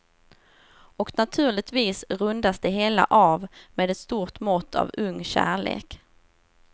Och naturligtvis rundas det hela av med ett stort mått av ung kärlek.